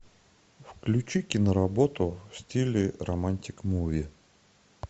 включи киноработу в стиле романтик муви